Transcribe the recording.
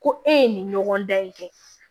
Ko e ye nin ɲɔgɔn dan in kɛ